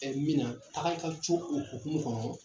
Ɛ mina a ka karice o hukumu kɔnɔ